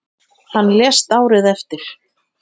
Hann lést árið eftir.